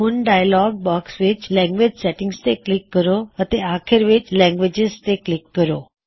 ਹੁਣ dialog box ਵਿੱਚ language settings ਤੇ ਕਲਿੱਕ ਕਰੋ ਅਤੇ ਅਖੀਰ ਵਿੱਚ ਲੈਂਗਵਿਜਿਜ਼ ਤੇ ਕਲਿੱਕ ਕਰੋ